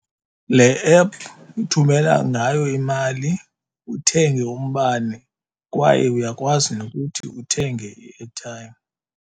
Le app uthumela ngayo imali, uthenge umbane kwaye uyakwazi nokuthi uthenge i-airtime.